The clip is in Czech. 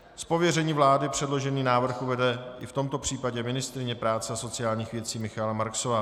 Z pověření vlády předložený návrh uvede i v tomto případě ministryně práce a sociálních věcí Michaela Marksová.